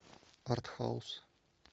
артхаус